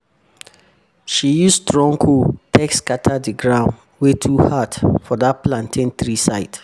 she use strong hoe take scatter di ground wey too hard for dat plantain tree side